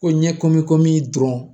Ko ɲɛ komi komi dɔrɔn